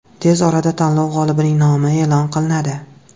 Tez orada tanlov g‘olibining nomi e’lon qilinadi.